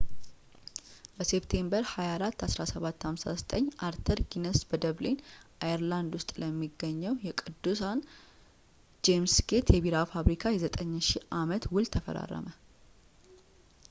በሴፕቴምበር 24 1759 አርተር ጊነስ በደብሊን አየርላንድ ውስጥ ለሚገኘው የቅዱስን ጄምስ ጌት የቢራ ፋብሪካ የ9,000 አመት ውል ተፈራረመ